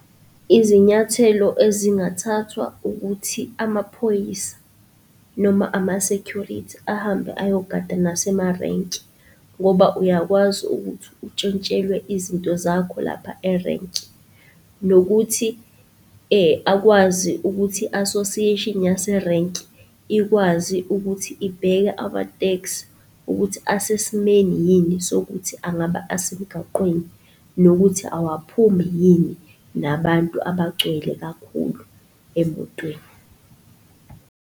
Izinyathelo ezingathathwa ukuthi amaphoyisa noma ama-security ahambe ayogada nasemarenki ngoba uyakwazi ukuthi untshontshelwe izinto zakho lapha erenki, nokuthi akwazi ukuthi association yaserenki ikwazi ukuthi ibheke ama-taxi ukuthi asesimeni yini sokuthi angaba asemgaqweni, nokuthi awaphumi yini nabantu abagcwele kakhulu emotweni.